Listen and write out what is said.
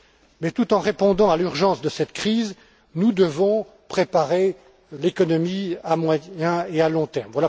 Mais tout en répondant à l'urgence de cette crise, nous devons préparer l'économie à moyen et à long terme.